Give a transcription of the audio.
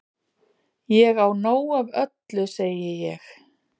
Ég á nóg af öllu segi ég.